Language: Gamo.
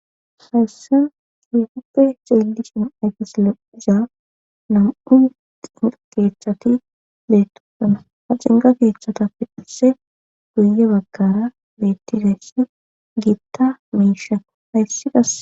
hayssen hefuppe ceelishin ayfisoloiza nam7u keechchati deettukana ha cinga keechchata pidhise guye baggara bettideessi giitta miishako hayssi gas